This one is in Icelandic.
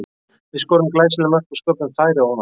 Við skoruðum glæsileg mörk og sköpuðum færi ofan á það.